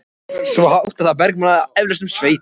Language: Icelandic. Svo hátt að það bergmálaði eflaust um sveitina.